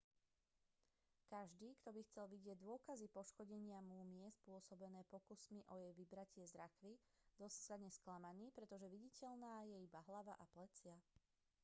každý kto by chcel vidieť dôkazy poškodenia múmie spôsobené pokusmi o jej vybratie z rakvy zostane sklamaný pretože viditeľná je iba hlava a plecia